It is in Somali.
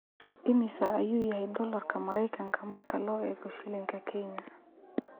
Immisa ayuu yahay dollarka Maraykanka marka loo eego shilinka Kenya?